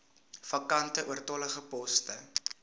vakante oortollige poste